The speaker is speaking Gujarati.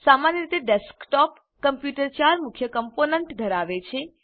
સામાન્ય રીતે ડેસ્કટોપ કમ્પ્યુટર 4 મુખ્ય કમ્પોનન્ટ ધરાવે છે